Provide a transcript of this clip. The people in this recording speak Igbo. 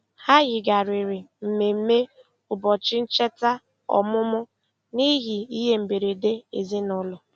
Ha yigharịrị mmemme ụbọchị ncheta ọmụmụ n'ihi ihe mberede ezinụụlọ.